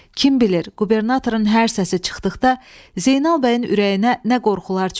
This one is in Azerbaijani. Kim bilir, qubernatorun hər səsi çıxdıqda Zeynal bəyin ürəyinə nə qorxular çökürdü.